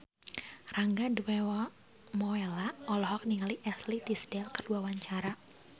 Rangga Dewamoela olohok ningali Ashley Tisdale keur diwawancara